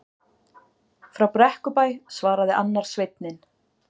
Frá Brekkubæ, svaraði annar sveinninn.